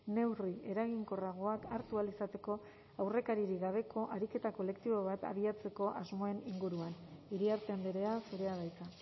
neurri eraginkorragoak hartu ahal izateko aurrekaririk gabeko ariketa kolektibo bat abiatzeko asmoen inguruan iriarte andrea zurea da hitza